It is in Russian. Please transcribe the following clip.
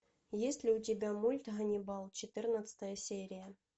есть ли у тебя мульт ганнибал четырнадцатая серия